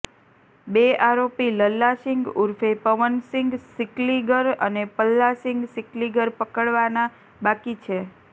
બે આરોપી લલ્લાસીંગ ઉર્ફે પવનસીંગ સિકલીગર અને પલ્લાસીંગ સિકલીગર પકડવાના બાકી છે